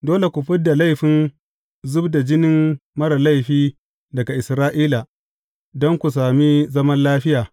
Dole ku fid da laifin zub da jinin marar laifi daga Isra’ila, don ku sami zaman lafiya.